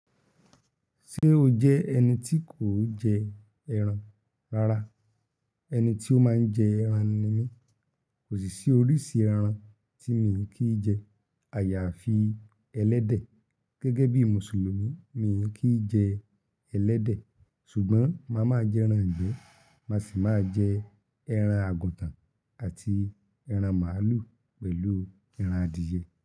Ṣé o jẹ́ ẹni tí kò jẹ ẹran? Rárá, ẹni tí ó máa ń jẹ ẹran ni mí. Kò sì sí oríṣi ẹran tí mi kì í jẹ. Àyà fi ẹlẹ́dẹ̀. Gẹ́gẹ́ bí Mùsùlùmí, mi kì í jẹ ẹlẹ́dẹ̀. Ṣùgbọ́n màá máa jẹ ẹran ìgbẹ́, màá sì máa jẹ ẹran àgùntàn àti ẹran màlúù pẹ̀lú ẹran adìẹ.